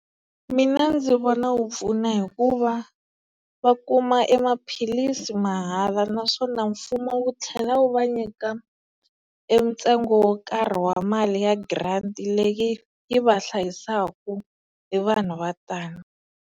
Mina ndzi vona wu pfuna hikuva va kuma e maphilisi mahala naswona mfumo wu tlhela wu va nyika e ntsengo wo karhi wa mali ya grant leyi yi va hlayisaka e vanhu vo tani.